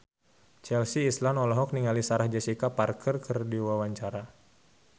Chelsea Islan olohok ningali Sarah Jessica Parker keur diwawancara